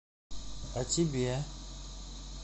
а тебе